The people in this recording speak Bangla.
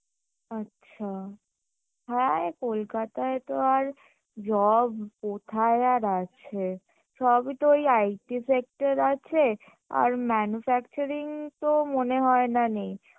আচ্ছা হ্যাঁ কোলকাতায় তো আর job কোথায় আর আছে সবই তো ওই IT sector আছে আর manufacturing তো মনেহয় না নেই